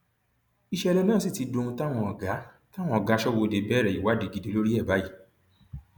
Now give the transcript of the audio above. ìṣẹlẹ náà sì ti dohun táwọn ọgá táwọn ọgá aṣọbodè bẹrẹ ìwádìí gidi lórí ẹ báyìí